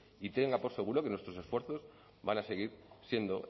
y tenga por seguro que nuestros esfuerzos van a seguir siendo